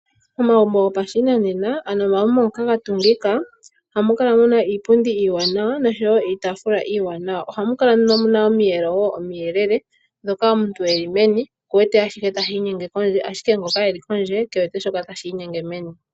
Omagumbo gopashinanena ano omagumbo ngoka ga tungika, ohamukala muna iipundi iiwanawa noshowo iitafula iiwanawa, ohamukala muna omiyelo omiyelele dhoka omuntu eli meni okuwete ashihe tashi inyenge kondje ashike ngoka eli kondje kewete shoka tashi inyenge meni.